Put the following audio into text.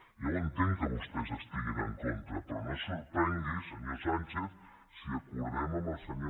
ja ho entenc que vostès hi estiguin en contra però no es sorprengui senyor sánchez si acordem amb el senyor